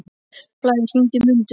Blær, hringdu í Mundu.